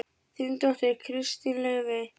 Þín dóttir, Kristín Laufey.